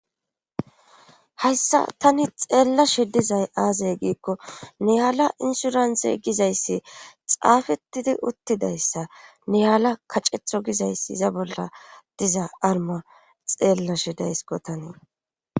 hayssa tani xeellashe dizay aazay giikko niyaala insurante gizayssi xaafettidi uttidayssa niyaala kacetho gizayssi iza bolla diza arma xeellashe daysko tanii